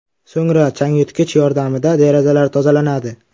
So‘ngra changyutgich yordamida derazalar tozalanadi.